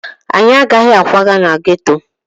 Anyị agaghị akwaga na geto